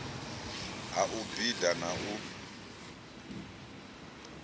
ha u bida na u